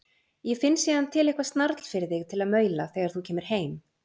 Ég finn síðan til eitthvert snarl fyrir þig til að maula þegar þú kemur heim.